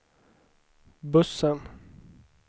bussen